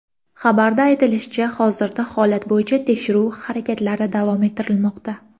Xabarda aytilishicha, hozirda holat bo‘yicha tekshiruv harakatlari davom ettirilmoqda.